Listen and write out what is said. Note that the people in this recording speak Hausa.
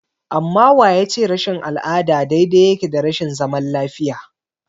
Amma wa ya ce rashin al'ada daidai yake da rashin zaman lafiya?